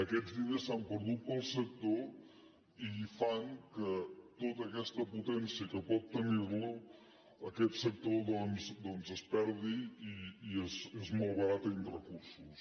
aquests diners s’han perdut per al sector i fan que tota aquesta potència que pot tenir la aquest sector doncs es perdi i es malbaratin recursos